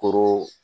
Koro